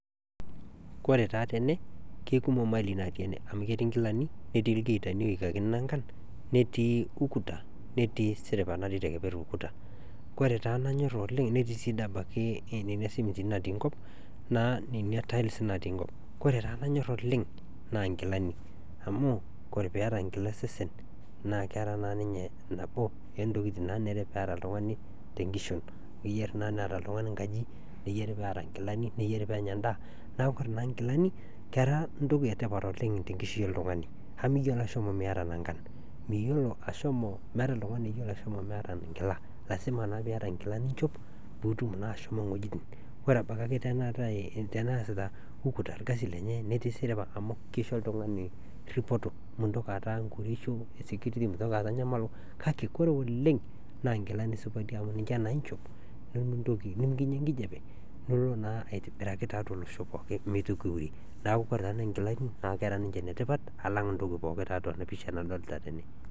Kore taa tene kekumok malii natii ene amu ketii nkilani netii lgiitani oikakini nankan ,netii ukuta netii siripa natii te nkeper ukuta kore taa nanyorr oleng, netii si dei abaki nena simitini natii nkop naa ninye tails natii nkop. Kore taa nanyorr oleng naa nkilani amu kore pueta nkila osesen naa kera naa ninye nabo ontokitin naanare peet oltungani te nkishon. Enare naa neeta oltungani nkaji, neyari peeta nkilani, neyari peenya endaa ,naa kore naa nkilani kera ntoki etipat oleng te nkishu oltungani qmu miyolo ashomo emieta nankan ,miyolo ashomo, meeta iltungani oyolo ashomo emeeta nkila, lasima naa pieta nkilani niinchop, piitum naa ashomo wuejitin. Kore abaki tanaa ieta teneasita ukuta ilkasi lenye ,netii siripa amu keisho iltungani ripoti, mintoki aata ngorisho esekuriti, mintoki aat nyamalo, kake kore oleng naa nkilani supati ninche naa inchop nimikinya nkijepenilo naa aitibiraki tiatu losho pooki emeitoki iurie, naaku kore na nkilani naa kera ninche enetipat alang ntoki pooki tiatua anapisha nadolita tene .